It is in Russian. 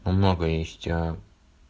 много есть а